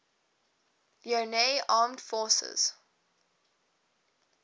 leone armed forces